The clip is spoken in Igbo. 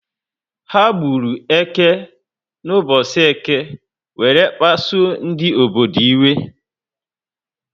Ha gburu eke na ubosi Eke were pasuo ndị obodo iwe